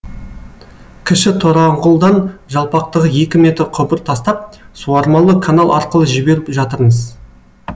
кіші тораңғұлдан жалпақтығы екі метр құбыр тастап суармалы канал арқылы жіберіп жатырмыз